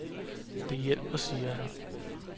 Det hjælper , siger han.